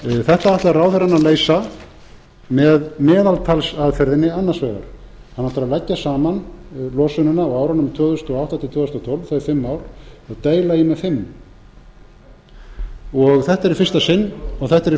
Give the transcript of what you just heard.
þetta ætlar ráðherrann að leysa með meðaltalsaðferðinni annars vegar hann ætlar að leggja saman losunina á árunum tvö þúsund og átta til tvö þúsund og tólf þau fimm ár og deila í þau með fimm þetta er í